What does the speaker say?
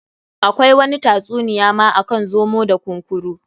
Akwai wani ta tsuniya ma akan zomo da kunkuru.